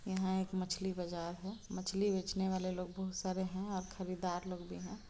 यहाँ एक मछली बाजार है मछली बेचने वाले लोग बहोत सारे हैं और खरीदार लोग भी हैं।